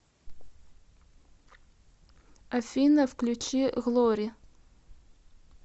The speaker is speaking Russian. афина включи глори